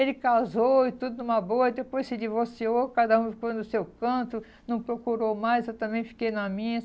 Ele casou e tudo numa boa, aí depois se divorciou, cada um ficou no seu canto, não procurou mais, eu também fiquei na minha.